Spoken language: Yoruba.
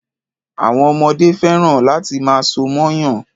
Àwọn ọmọdé fẹ́ràn láti máa so mọ́yàn.